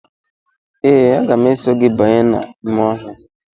Ee, aga m eso gị banye n’ime ọhịa.